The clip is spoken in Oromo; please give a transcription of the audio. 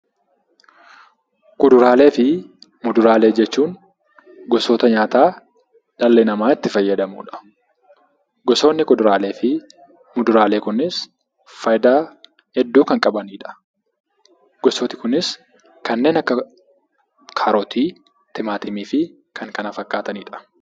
Kuduraalee fi muduraalee jechuun gosoota nyaataa dhalli namaa itti fayyadamudha. Gosoonni kuduraalee fi muduraalee kunis faayidaa hedduu kan qabanidha. Gosooti kunis kanneen akka kaarotii, timaatimii fi kan kana fakkaatanidha.